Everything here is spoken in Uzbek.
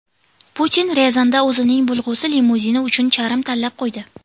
Putin Ryazanda o‘zining bo‘lg‘usi limuzini uchun charm tanlab qo‘ydi.